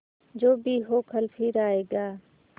जो भी हो कल फिर आएगा